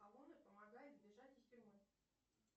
сталоне помогает бежать из тюрьмы